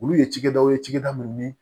Olu ye cakɛdaw ye cikɛda minnu ni